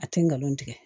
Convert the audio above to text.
A tɛ ngalon tigɛ